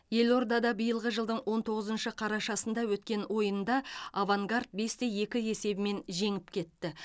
елордада биылғы жылдың он тоғызыншы қарашасында өткен ойында авангард бесте екі есебімен жеңіп кетті